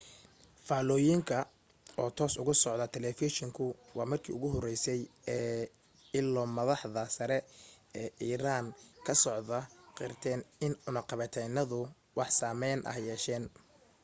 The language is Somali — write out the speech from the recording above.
faallooyinka oo toos uga socda talafeeshinku waa markii ugu horeysay ee ilo madaxda sare ee iiraan ka socda qirtaan in cunaqabataynadu wax saameyn ah yeesheen